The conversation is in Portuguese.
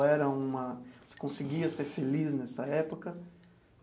Ou era uma você conseguia ser feliz nessa época?